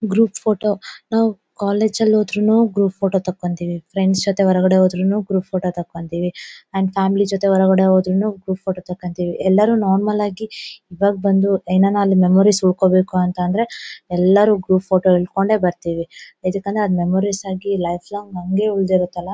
Group photo ನಾವು ಕಾಲೇಜುಲ್ ಹೊದ್ರುನು ಗ್ರೂಪ್ ಫೋಟೋ ತಕೊಂತೀವಿ ಫ್ರೆಂಡ್ಸ್ ಜೊತೆ ಹೊರಗಡೆ ಹೊದ್ರುನು ಗ್ರೂಪ್ ಫೋಟೋ ತಕೊಂತೀವಿ ಆಂಡ್ ಫ್ಯಾಮಿಲಿ ಜೊತೆ ಹೊರಗಡೆ ಹೊದ್ರುನು ಗ್ರೂಪ್ ಫೋಟೋ ತಕೊಂತೀವಿ. ಎಲ್ಲರೂ ನಾರ್ಮಲ್ ಆಗಿ ಈವಾಗ್ ಬಂದು ಏನಾರ ಮೆಮೊರಿಸ್ ಉಳ್ಕೊಬೇಕು ಅಂತ ಅಂದ್ರೆ ಎಲ್ಲರೂ ಗ್ರೂಪ್ ಫೋಟೋ ಹಿಡ್ಕೊಂಡೆ ಬರ್ತೀವಿ ಯಾಕಂದ್ರೆ ಮೆಮೊರೀಸ್ ಆಗಿ ಲೈಫ್ ಲಾಂಗ್ ನಮಗೆ ಉಳಿದಿರತಲ್ವಾ.